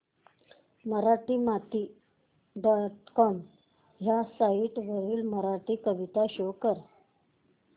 Marathimati dot com ह्या site वरील मराठी कविता शो कर